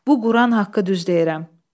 Bu Quran haqqı düz deyirəm.